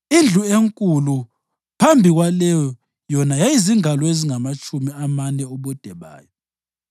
Indlu enkulu phambi kwaleyo yona yayizingalo ezingamatshumi amane ubude bayo.